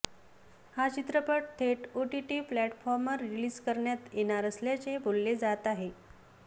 हा चित्रपट थेट ओटीटी प्लॅटफॉर्मवर रिलीज करण्यात येणार असल्याचे बोलले जात आहे